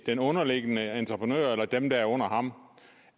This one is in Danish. den underliggende entreprenør eller dem der er under ham